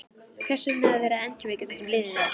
Hvers vegna að vera að endurvekja það sem liðið er?